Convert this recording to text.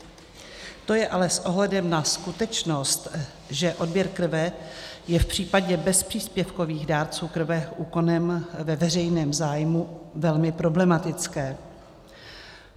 To je ale s ohledem na skutečnost, že odběr krve je v případě bezpříspěvkových dárců krve úkonem ve veřejném zájmu, velmi problematické.